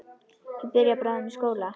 Ég byrja bráðum í skóla.